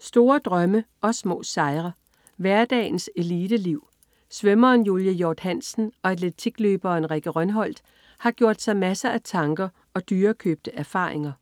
Store drømme og små sejre. Hverdagens eliteliv. Svømmeren Julie Hjorth Hansen og atletikløberen Rikke Rønholt har gjort sig masser af tanker og dyrekøbte erfaringer